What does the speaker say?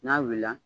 N'a wulila